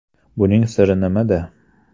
Buning siri nimada?